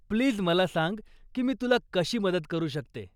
Please मला सांग की मी तुला मदत कशी करू शकते.